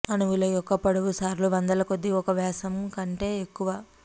అణువుల యొక్క పొడవు సార్లు వందలకొలది ఒక వ్యాసం కంటే ఎక్కువ